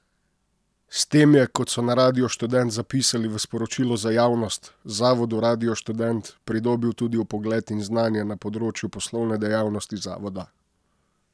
S tem je, kot so na Radiu Študent zapisali v sporočilu za javnost, Zavodu Radio Študent, pridobil tudi vpogled in znanje na področju poslovne dejavnosti zavoda.